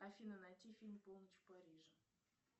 афина найти фильм полночь в париже